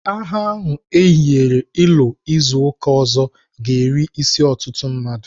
Agha a eyiwere ịlụ izu ụka ọzọ ga-eri isi ọtụtụ mmadụ.